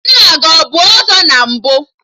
Nna gị abụ ọzọ na mbụ?